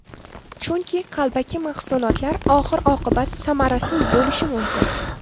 Chunki, qalbaki mahsulotlar oxir oqibat samarasiz bo‘lishi mumkin.